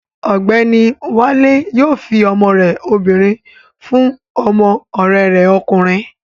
Ọ̀gbẹ́ni Wálé yóò fi ọmọ rẹ obìnrin fún ọmọ ọ̀rẹ́ rẹ̀ ọkùnrin